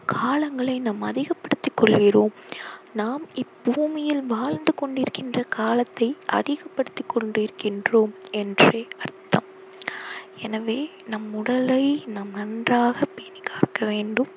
காலங்களை நாம் அதிகப்படுத்தி கொள்கிறோம் நாம் இப் பூமியில் வாழ்ந்து கொண்டிருக்கும் காலத்தை அதிகப்படுத்திக் கொண்டிருக்கின்றோம் என்றே அர்த்தம் எனவே நம் உடலை நாம் நன்றாக பேணிக்காக வேண்டும்